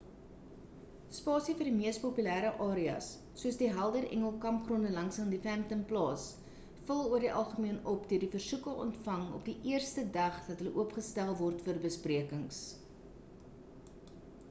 spasie vir die mees populêre areas soos die helder engel kampgronde langsaan die phantom plaas vul oor die algemeen op deur die versoeke ontvang op die eerste dag dat hulle oopgestel word vir besprekings